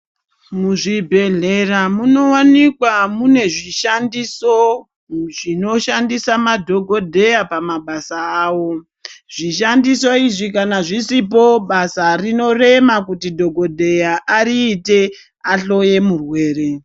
Muzvibhehlera munowanikwa mune zvishandiso zvinoshandisa madhokodheya pamabasa awo. Zvishandiso izvi kana zvisipo basa rinorema kuti dhokodheya ariite ahloye murwere.